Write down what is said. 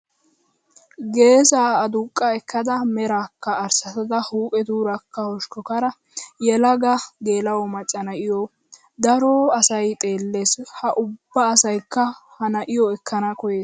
Geesaa aduqqa ekkada merakka arssatada huuphetuurakka hoshkkaara yelaga geela"o macca na'iyomo daro asayi xeellees. Ha ubba asayikka ha na'iyo ekkana koyees.